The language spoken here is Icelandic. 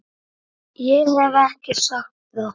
Ég hef ekki sagt það!